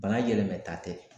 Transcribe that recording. Bana yɛlɛmata tɛ